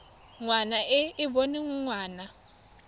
ngwana e e boneng ngwana